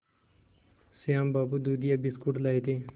श्याम बाबू दूधिया बिस्कुट लाए थे